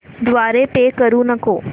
द्वारे पे करू नको